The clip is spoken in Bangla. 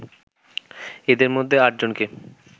এদের মধ্যে আটজনকে